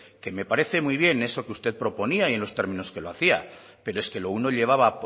que me parece muy bien eso que usted proponía y en los términos que lo hacía pero es que lo uno llevaba